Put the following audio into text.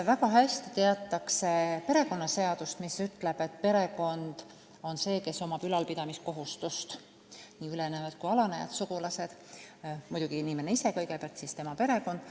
Väga hästi teatakse perekonnaseadust, mis ütleb, et perekond on see, kellel on ülalpidamiskohustus – nii ülenejad kui alanejad sugulased, aga muidugi inimene ise kõigepealt ja siis tema perekond.